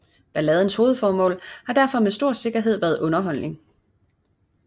Balladens hovedformål har derfor med stor sikkerhed været underholdning